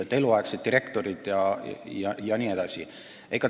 Kas meil on eluaegsed direktorid?